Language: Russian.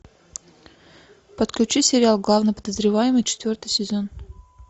подключи сериал главный подозреваемый четвертый сезон